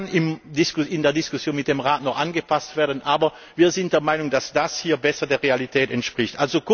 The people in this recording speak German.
Das kann in der Diskussion mit dem Rat noch angepasst werden, aber wir sind der Meinung, dass das hier besser der Realität entspricht.